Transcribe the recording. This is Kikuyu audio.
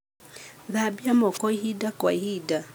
Thambia moko ihinda kwa ihinda.